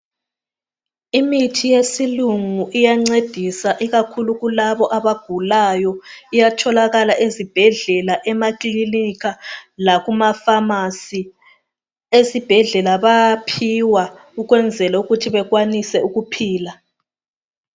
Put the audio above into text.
Imithi yesilungu iyancedisa ikakhulu kulabo abagulayo. Iyatholakala ezibhedlela emakilinika lakumafasi. Esibhedlela bayaphiwa ukwenzela ukuthi bakwanise ukuphila.